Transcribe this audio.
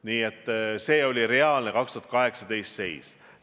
Nii et see oli reaalne 2018. aasta seis.